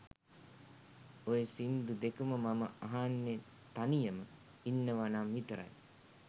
ඔය සින්දු දෙකම මම අහන්නෙ තනියම ඉන්නවනම් විතරයි.